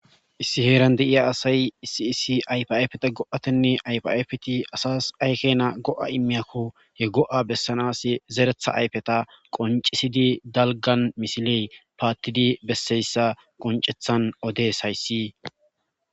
issi heeran deiya asay isiisi aypafeta go7atenne aypafeti asas aykena go7a immiyakko he go7a bessanas zeretha ayfeta qoncisidi dalgan misiley paattidi besseyssa qoncethan odes hayssi